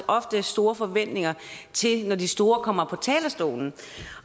ofte har store forventninger når de store kommer på talerstolen